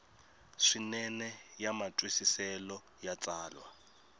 swinene ya matwisiselo ya tsalwa